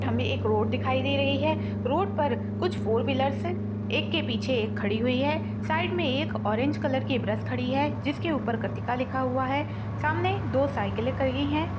हमे एक रोड दिखाई दे रही है रोड पर कुछ फोर व्हीलर्स है एक के पीछे एक खड़ी हुई है साइड मे एक ऑरेंज कलर की ब्रश खड़ी है जिसके ऊपर कृतिका लिखा हुआ है सामने दो साइकिले खड़ी है।